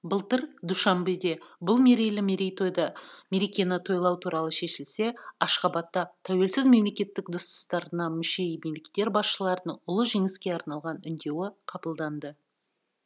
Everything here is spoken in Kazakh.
былтыр душанбеде бұл мерекені тойлау туралы шешілсе ашхабадта тәуелсіз мемлекеттер достастарына мүше мемлекеттер басшыларының ұлы жеңіске арналған үндеуі қабылданды